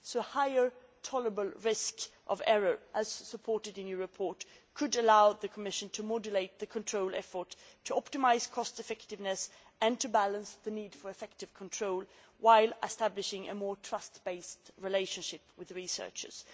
So a higher tolerable risk of errors, as supported in your report, could allow the Commission to modulate the control effort, to optimise cost effectiveness and to balance the need for effective control with establishing a more trust based relationship with researchers.